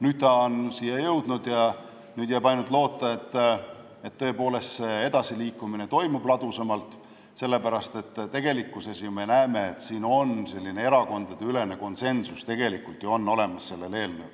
Nüüd ta on siia jõudnud ja jääb üle ainult loota, et edasiliikumine toimub ladusamalt, sest me ju näeme, et selle eelnõu suhtes on erakondadeülene konsensus.